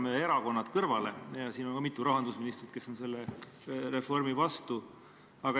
Jätame erakonnad kõrvale, siin on mitu endist rahandusministrit, kes on selle reformi vastu.